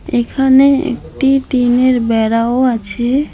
এখানে একটি টিনের বেড়াও আছে।